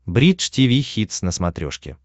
бридж тиви хитс на смотрешке